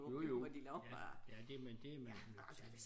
Jo jo ja ja det men det man nødt til